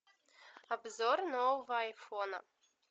обзор нового айфона